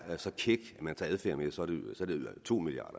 så kæk at man tager adfærd med så er det to milliard